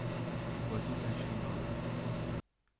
оплатить личный номер